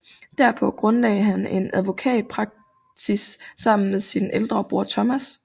Derpå grundlagde han en advokatpraksis sammen med sin ældre bror Thomas